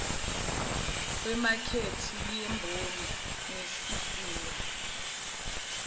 wemakethe yemboni nesizinda